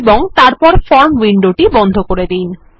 এবং তারপর form window টি বন্ধ করে দিন